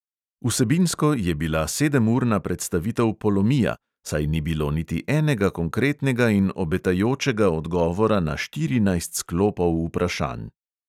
Vsebinsko je bila sedemurna predstavitev polomija, saj ni bilo niti enega konkretnega in obetajočega odgovora na štirinajst sklopov vprašanj.